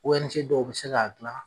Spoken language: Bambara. owɛnize dɔw be se k'a gilan